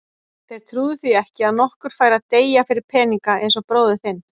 Þeir trúðu því ekki að nokkur færi að deyja fyrir peninga eins og bróðir þinn.